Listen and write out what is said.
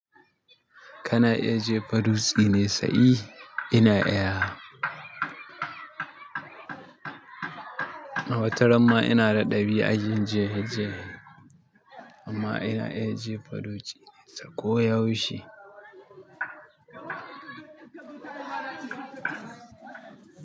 Kana iya jefa dutse mai tsayi? Ina iyawa. Wata ramma ina da ɗabi'an yin jere jere amma ina iya jefa dutse ko yaushe.